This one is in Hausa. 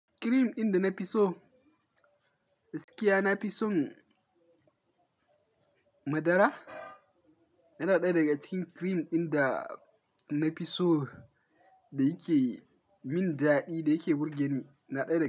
Kirim inda na fi so gaskiya, na fi son madara. Yana ɗaya daga cikin kirim ɗin da na fi so da yake min daɗi da yake burge ni, yana ɗaya daga.